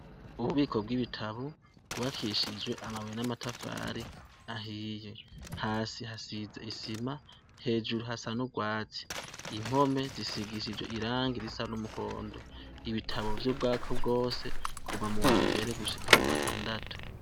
Mububiko bw'ibitabu, rwubakishije amabuye n'amatafari ahiye. hasi hasize isima, hejuru hasa nurwatsi impome, risigishijwe n'irangi risa n'umuhondo. ibitabo vyubwako bwose kuva muwambere gushika mu wagatandatu.